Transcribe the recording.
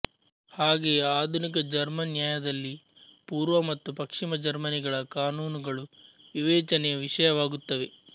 ಹಾಗೆಯೇ ಆಧುನಿಕ ಜರ್ಮನ್ ನ್ಯಾಯದಲ್ಲಿ ಪೂರ್ವ ಮತ್ತು ಪಶ್ಚಿಮ ಜರ್ಮನಿಗಳ ಕಾನೂನುಗಳು ವಿವೇಚನೆಯ ವಿಷಯವಾಗುತ್ತವೆ